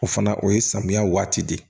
O fana o ye samiya waati de ye